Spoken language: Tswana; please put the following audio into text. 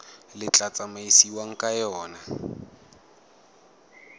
le tla tsamaisiwang ka yona